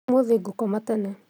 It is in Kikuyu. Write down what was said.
Ũmũthĩ ngokoma tene